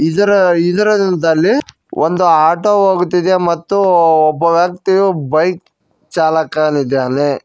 ಇದರ ಇದರದಲ್ಲಿ ಒಂದು ಆಟೋ ಹೋಗುತ್ತಿದೆ ಮತ್ತು ಒಬ್ಬ ವ್ಯಕ್ತಿಯೂ ಬೈಕ್ ಚಾಲಕನಿದ್ದಾನೆ.